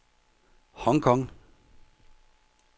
Hong Kong